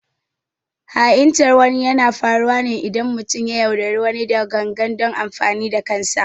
Ha’intar wani yana faruwa ne idan mutum ya yaudari wani da gangan don amfanin kansa